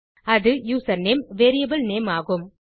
அது username variable name ஆகும்